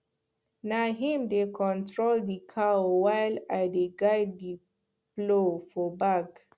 na him dey control the cow while i dey guide the plow for back